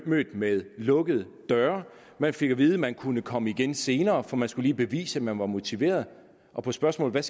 mødt med lukkede døre man fik at vide at man kunne komme igen senere for man skulle lige bevise at man var motiveret og på spørgsmålet